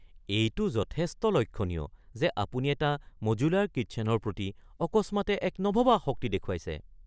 এইটো যথেষ্ট লক্ষণীয় যে আপুনি এটা মডুলাৰ কিচ্ছেনৰ প্ৰতি অকস্মাতে এক নভবা আসক্তি দেখুৱাইছে।